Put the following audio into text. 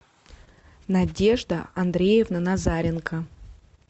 надежда андреевна назаренко